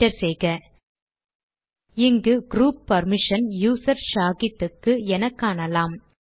enter செய்க இங்கு group permission user Shahid க்கு என காணலாம்